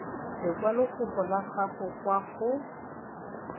lekwalokopo la gago kwa go